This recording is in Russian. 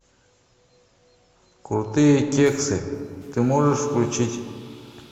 крутые кексы ты можешь включить